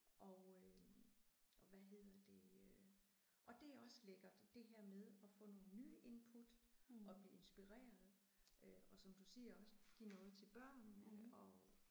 Og øh og hvad hedder det øh og det er også lækkert det her med at få nogle nye input og blive inspireret øh og som du siger også give noget til børnene og